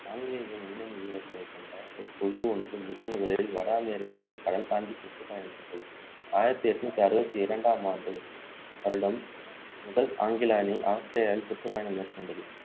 ஆங்கிலேய முன்னணி வீரர்களைக்கொண்ட குழு ஒன்று முதன்முதலில் வட அமெரிக்காவிற்கு கடல் தாண்டி சுற்றுப்பயணம் செய்தது ஆயிரத்து எண்ணூற்று அறுபத்து இரண்டாம் ஆண்டு வருடம் முதல் ஆங்கில அணி ஆஸ்திரேலியாவில் சுற்றுப்பயணம் மேற்கொண்டது